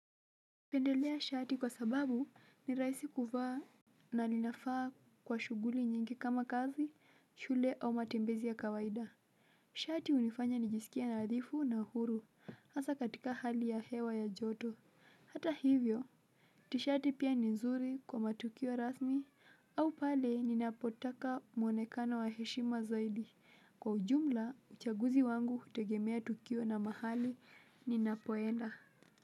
Pendelea shati kwa sababu ni rahisi kuvaa na linafaa kwa shughuli nyingi kama kazi, shule au matembezi ya kawaida shati unifanya nijisikia nadhifu na uhuru hasa katika hali ya hewa ya joto hata hivyo tishati pia ni nzuri kwa matukio rasmi au pale ninapotaka mwonekano wa heshima zaidi kwa ujumla uchaguzi wangu hutegemea tukio na mahali ninapoenda